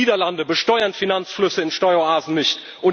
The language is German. Geld. Die Niederlande besteuern Finanzflüsse in Steueroasen nicht.